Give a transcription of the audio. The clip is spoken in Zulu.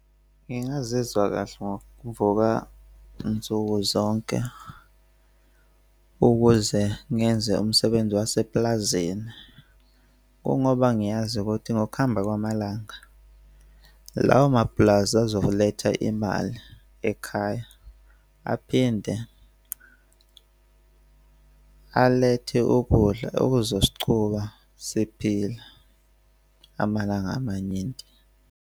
Ngingazizwa kahle ngokuvuka nsuku zonke ukuze ngenze umsebenzi waseplazini. Kungoba ngiyazi ukuthi ngokuhamba kwamalanga lawo ma pulazi azoletha imali ekhaya aphinde alethe ukudla okuzosichuba siphila amalanga amaningi.